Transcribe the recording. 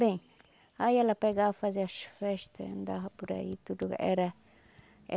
Bem, aí ela pegava, fazia as festas, andava por aí, tudo era eh.